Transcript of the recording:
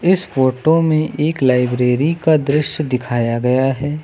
इस फोटो में एक लाइब्रेरी का दृश्य दिखाया गया है।